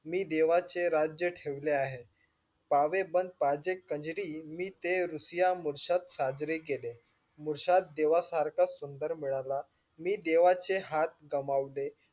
मी देवाचे राज्य ठेवले आहे. पावे बंद पाजे कान्ज्री मी ते रुसिया मुर्ष्द साजरे केले. मुर्ष्द देवा सारखा सुंदर मिळला, मी देवाचे हात कमावले मी देवाचे राज्य ठेवले आहे.